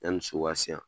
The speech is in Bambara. Yanni so ka se yan